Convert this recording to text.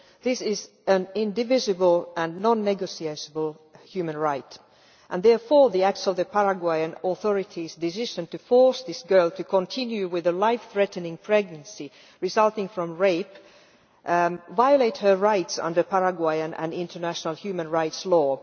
This is an indivisible and non-negotiable human right, and therefore the Paraguayan authorities' decision to force this girl to continue with a life threatening pregnancy resulting from rape violates her rights under Paraguayan and international human rights law.